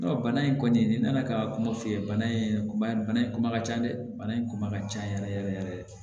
bana in kɔni ni nana ka kuma f'i ye bana in kuma bana in kuma ka ca dɛ bana in kuma ka ca yɛrɛ yɛrɛ yɛrɛ yɛrɛ